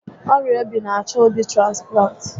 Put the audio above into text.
Ọrịa obi n'achọ obi transplant